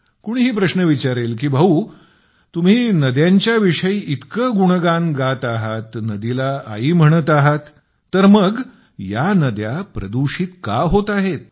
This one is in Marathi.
कोणीही प्रश्न विचारेल की भाऊ तुम्ही नद्यांच्या विषयी इतकं गुणगान गात आहात नदीला आई म्हणत आहात तर मग या नद्या प्रदूषित का होत आहेत